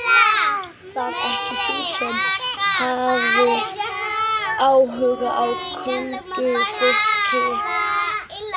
Varst það ekki þú sem hafðir áhuga á huldufólki?